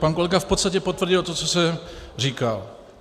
Pan kolega v podstatě potvrdil to, co jsem říkal.